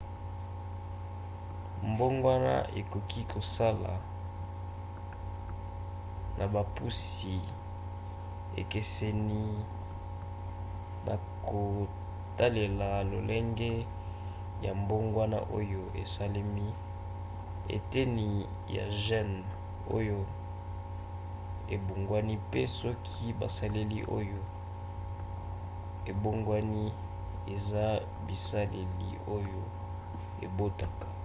mbogwana ekoki kosala na bopusi ekeseni na kotalela lolenge ya mbongwana oyo esalemi eteni ya gene oyo ebongwani mpe soki baselile oyo ebongwani eza baselile oyo ebotaka